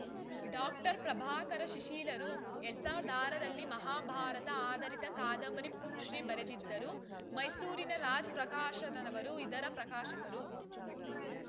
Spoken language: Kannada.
ಡಾಕ್ಟರ್ ಪ್ರಭಾಕರ ಶಿಶಿಲರು ಎರಡ್ ಸಾವಿರದ ಆರ ರಲ್ಲಿ ಮಹಾಭಾರತ ಆಧಾರಿತ ಕಾದಂಬರಿ ಪುಂಸ್ತ್ರೀ ಬರೆದಿದ್ದರು ಮೈಸೂರಿನ ರಾಜ್‌ ಪ್ರಕಾಶನದವರು ಇದರ ಪ್ರಕಾಶಕರು